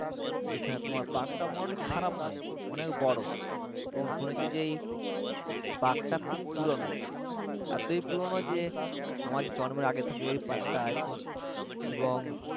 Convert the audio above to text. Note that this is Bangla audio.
যেখানে তোমার park টা মোটামুটি খারাপ নয় অনেক বড় এবং শুনেছি যে এই park টা খুব পুরনো এতই পুরনো যে আমার জন্মের আগে থেকে এই park টা আছে এবং